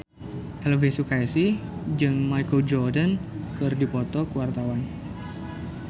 Elvi Sukaesih jeung Michael Jordan keur dipoto ku wartawan